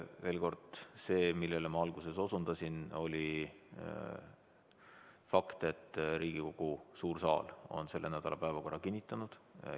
Veel kord, see, millele ma alguses osutasin, oli fakt, et Riigikogu suur saal on selle nädala päevakorra kinnitanud.